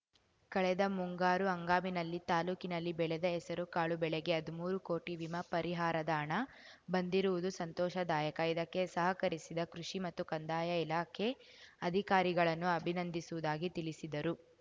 ಕಳೆದ ಮುಂಗಾರು ಹಂಗಾಮಿನಲ್ಲಿ ತಾಲೂಕಿನಲ್ಲಿ ಬೆಳೆದ ಹೆಸರುಕಾಳು ಬೆಳೆಗೆ ಹದ್ಮೂರು ಕೋಟಿ ವಿಮಾ ಪರಿಹಾರದ ಹಣ ಬಂದಿರುವುದು ಸಂತೋಷದಾಯಕ ಇದಕ್ಕೆ ಸಹಕರಿಸಿದ ಕೃಷಿ ಮತ್ತು ಕಂದಾಯ ಇಲಾಖೆ ಅಧಿಕಾರಿಗಳನ್ನು ಅಭಿನಂದಿಸುವುದಾಗಿ ತಿಳಿಸಿದರು